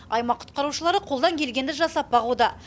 аймақ құтқарушылары қолдан келгенді жасап бағуда